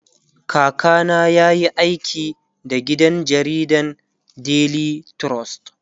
kaka na yayi aiki da gidan jaridan daily trust